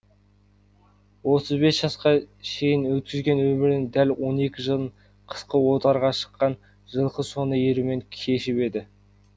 отыз бес жасқа шейін өткізген өмірінің дәл он екі жылын қысқы отарға шыққан жылқы соңына ерумен кешіп еді